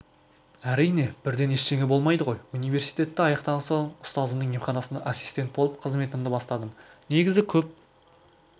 әрине бірден ештеңе болмайды ғой университетті аяқтаған соң ұстазымның емханасында ассистент болып қызметімді бастадым негізі көп